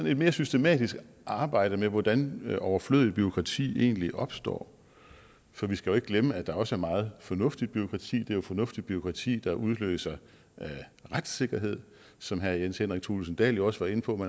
et mere systematisk arbejde med hvordan overflødigt bureaukrati egentlig opstår for vi skal ikke glemme at der også er meget fornuftigt bureaukrati er jo fornuftigt bureaukrati der udløser retssikkerhed som herre jens henrik thulesen dahl jo også var inde på